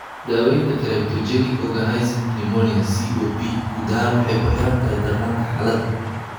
Daaweynta cryptogenic organizing pneumonia (COP) guud ahaan waxay kuxirantahay darnaanta xaalada.